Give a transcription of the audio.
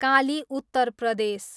काली, उत्तर प्रदेश